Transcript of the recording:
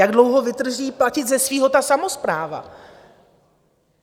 Jak dlouho vydrží platit ze svého ta samospráva?